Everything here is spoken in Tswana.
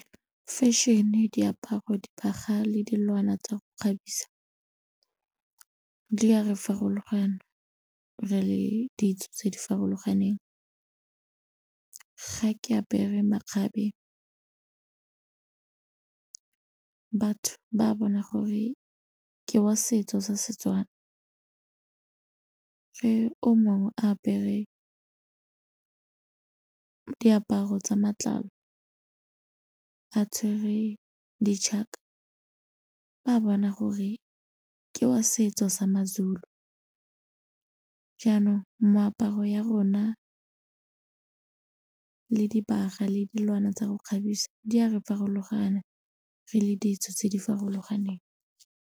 Fashion-e, diaparo, dibaga le dilwana tsa go kgabisa, di a re farologana re le ditso tse di farologaneng. Ga ke apere makgabe batho ba bona gore ke wa setso sa seTswana, ge o mongwe a apere diaparo tsa matlalo a tshwerwe di ba bona gore ke wa setso sa maZulu jaanong moaparo ya rona le dibagwa le dilwana tsa go kgabisa di a re farologana re le ditso tse di farologaneng.